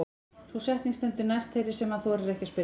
Sú setning stendur næst þeirri sem hann þorir ekki að spyrja.